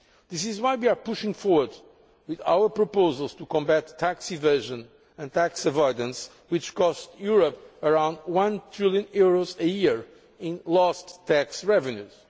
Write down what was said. This is why we are pushing forward with our proposals to combat tax evasion and tax avoidance, which cost Europe around EUR 1 trillion per year in lost tax revenues.